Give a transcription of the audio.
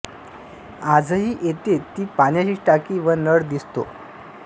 आजही येथे ती पाण्याची टाकी व नळ दिसतो